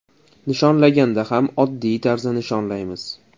Nishonlaganda ham oddiy tarzda nishonlaymiz.